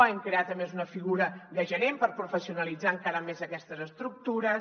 hem creat a més una figura de gerent per professionalitzar encara més aquestes estructures